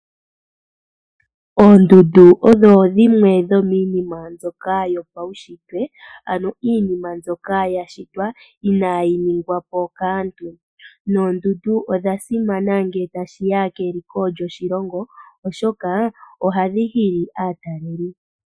Oondundu odho dhimwe dhomiinima mbyoka yopaunshitwe ano iinima mbyoka ya shitwa inaayi ningwa po kaantu. Noondundu odha simana ngele tashi ya keliko lyoshilongo oshoka ohadhi hili aatalelipo.